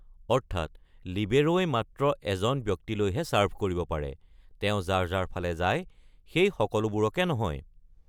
অৰ্থাৎ লিবেৰ’ই মাত্ৰ এজন ব্যক্তিলৈহে চাৰ্ভ কৰিব পাৰে, তেওঁ যাৰ যাৰ ফালে যায় সেই সকলোবোৰকে নহয়।